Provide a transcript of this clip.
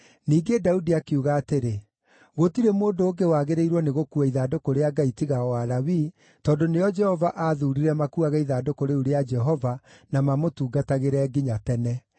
Ningĩ Daudi akiuga atĩrĩ, “Gũtirĩ mũndũ ũngĩ wagĩrĩirwo nĩ gũkuua ithandũkũ rĩa Ngai tiga o Alawii, tondũ nĩo Jehova aathuurire makuuage ithandũkũ rĩu rĩa Jehova na mamũtungatagĩre nginya tene.”